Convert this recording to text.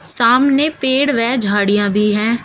सामने पेड़ वह झाड़ियां भी है।